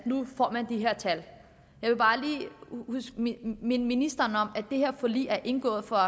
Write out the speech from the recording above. nu får de her tal jeg vil bare lige minde ministeren om at det her forlig er indgået for